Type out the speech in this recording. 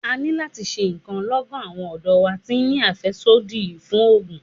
A ní láti ṣe ǹkan lọ́gán, àwọn ọ̀dọ́ wa ti ń ní àfẹ́sódì fún ògùn.